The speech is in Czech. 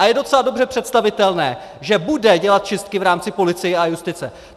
A je docela dobře představitelné, že bude dělat čistky v rámci policie a justice.